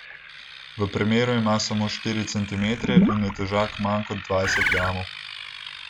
V premeru ima samo štiri centimetre in je težak manj kot dvajset gramov.